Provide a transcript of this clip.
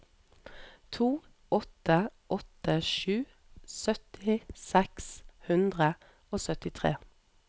to åtte åtte sju sytti seks hundre og syttitre